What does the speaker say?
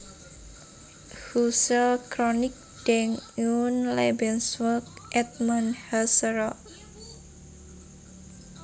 Husserl Chronik Denk und Lebensweg Edmund Husserls